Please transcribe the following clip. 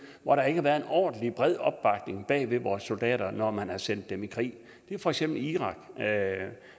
hvor der ikke har været en ordentlig og bred opbakning bag vores soldater når man har sendt dem i krig det er for eksempel irak irak